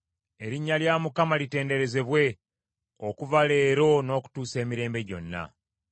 Erinnya lya Mukama litenderezebwe okuva leero n’okutuusa emirembe gyonna.